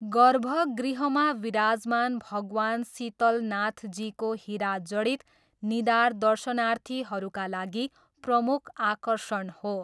गर्भगृहमा विराजमान भगवान शीतलनाथजीको हिरा जडित निधार दर्शनार्थीहरूका लागि प्रमुख आकर्षण हो।